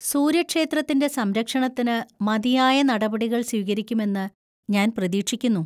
സൂര്യക്ഷേത്രത്തിന്‍റെ സംരക്ഷണത്തിന് മതിയായ നടപടികൾ സ്വീകരിക്കുമെന്ന് ഞാൻ പ്രതീക്ഷിക്കുന്നു.